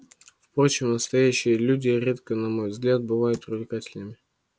впрочем настоящие леди редко на мой взгляд бывают привлекательными